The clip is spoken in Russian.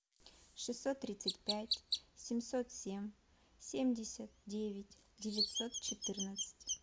шестьсот тридцать пять семьсот семь семьдесят девять девятьсот четырнадцать